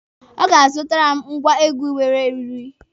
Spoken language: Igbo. Ọ ga-azụtara m ngwa egwu nwere eriri.